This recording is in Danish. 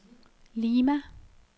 Lima